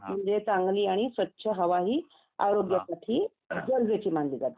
म्हणजे चांगली आणि स्वच्छ हवा ही आरोग्यासाठी गरजेची मानली जाते